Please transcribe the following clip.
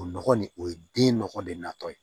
O nɔgɔ nin o ye den nɔgɔ de natɔ ye